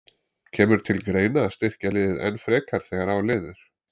Kemur til greina að styrkja liðið enn frekar þegar á líður?